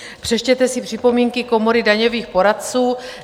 Přečtete si připomínky Komory daňových poradců.